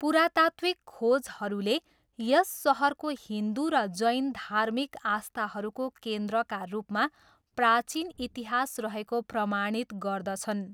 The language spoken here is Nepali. पुरातात्त्विक खोजहरूले यस सहरको हिन्दु र जैन धार्मिक आस्थाहरूको केन्द्रका रूपमा प्राचीन इतिहास रहेको प्रमाणित गर्दछन्।